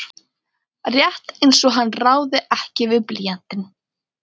Rétt einsog hann ráði ekki við blýantinn.